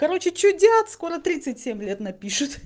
короче что делать скоро тридцать семь лет напишут